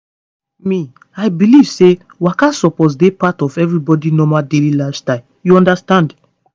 me i believe say waka suppose dey part of everybody normal daily lifestyle you understand.